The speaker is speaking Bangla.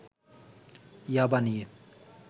'ইয়াবা' নিয়ে